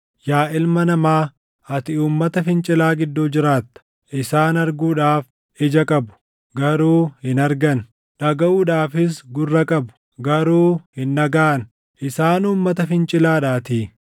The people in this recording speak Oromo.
“Yaa ilma namaa, ati uummata fincilaa gidduu jiraatta. Isaan arguudhaaf ija qabu; garuu hin argan; dhagaʼuudhaafis gurra qabu; garuu hin dhagaʼan; isaan uummata fincilaadhaatii.